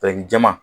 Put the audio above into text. jɛman